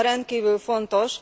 A téma rendkívül fontos.